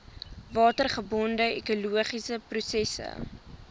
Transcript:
watergebonde ekologiese prosesse